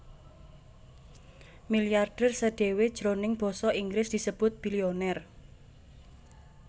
Milyarder sdhéwé jroning basa Inggris disebut billionaire